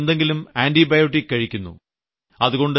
അതുകൊണ്ട് എന്തെങ്കിലും ആന്റിബയോട്ടിക് കഴിക്കുന്നു